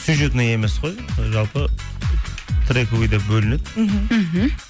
сюжетный емес қой жалпы ы трековый деп бөлінеді мхм мхм